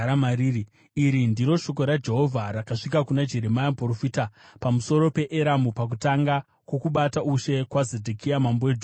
Iri ndiro shoko raJehovha rakasvika kuna Jeremia muprofita pamusoro peEramu, pakutanga kwokubata ushe kwaZedhekia mambo weJudha, richiti: